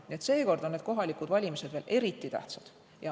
Nii et seekord on need kohalikud valimised veel eriti tähtsad.